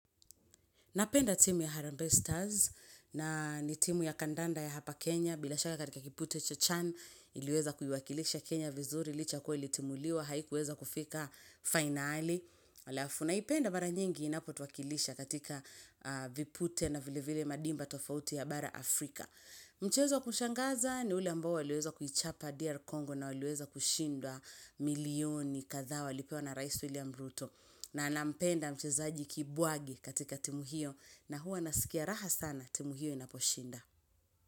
Napenda timu ya Harambee Stars na ni timu ya kandanda ya hapa Kenya. Bila shaka katika kipute chochan iliweza kuiwakilisha Kenya vizuri Licha kuwa ilitimuliwa haikuweza kufika finali Alafu naipenda mara nyingi inapotuwakilisha katika vipute na vile vile madimba tofauti ya bara Afrika Mchezo wa kushangaza ni ule ambao waliweza kuchapa DR Congo na waliweza kushindwa milioni kadhaa walipewa na Rais William Ruto na nampenda mchezaji Kibuwagi katika timu hiyo na huwa nasikia raha sana timu hiyo inaposhinda.